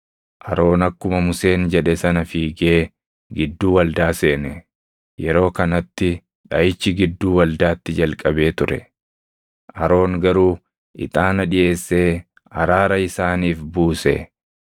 Aroon akkuma Museen jedhe sana fiigee gidduu waldaa seene. Yeroo kanatti dhaʼichi gidduu waldaatti jalqabee ture. Aroon garuu ixaana dhiʼeessee araara isaaniif buuse.